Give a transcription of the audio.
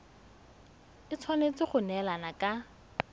e tshwanetse go neelana ka